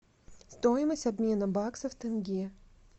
стоимость обмена бакса в тенге